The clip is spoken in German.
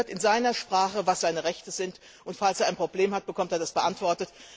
Und er hört in seiner Sprache, was seine Rechte sind, und falls er ein Problem hat, bekommt er Antwort.